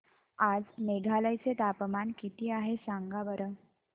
आज मेघालय चे तापमान किती आहे सांगा बरं